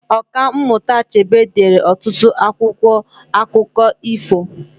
Ọka mmụta Achebe deere ọtụtụ akwụkwọ akụkọ ifo